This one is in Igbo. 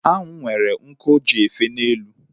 Anwụ nwere nku o ji efe n'elu